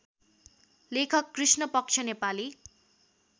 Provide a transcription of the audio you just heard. लेखक कृष्णपक्ष नेपाली